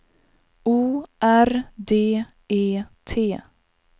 O R D E T